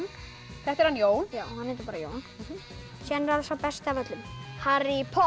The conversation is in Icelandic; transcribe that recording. þetta er hann Jón hann heitir bara Jón síðan er sá besti af öllum Harry Potter